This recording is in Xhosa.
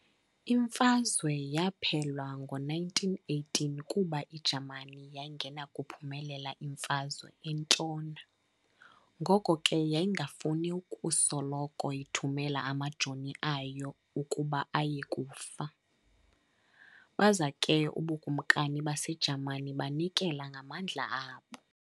Imfazwe yaphela ngo-918 kuba iJamani yayingenakuyiphumelela imfazwe entshona ngoko ke yayingafuni ukusoloko ithumela amajoni ayo ukuba aye kufa, baza ke ubuKumkani baseJamani banikezela ngamandla abo.